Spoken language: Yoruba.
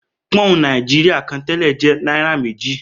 Pọ́ùn Nàìjíríà kan tẹ́lẹ̀ jẹ́ náírà méjì